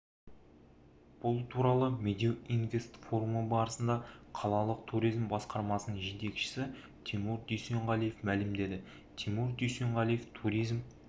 бұл туралы медеу инвест форумы барысында қалалық туризм басқармасының жетекшісі тимур дүйсенғалиев мәлімдеді тимур дүйсенғалиев туризм